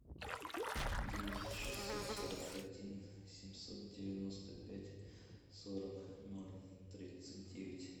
девять шестьсот сорок один семьсот девяносто пять сорок ноль тридцать девять